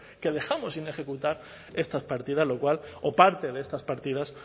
que dejamos sin ejecutar estas partidas lo cual o parte de estas partidas